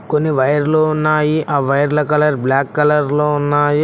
కొన్ని వైర్లు ఉన్నాయి ఆ వైర్ల కలర్ బ్లాక్ కలర్ లో ఉన్నాయి.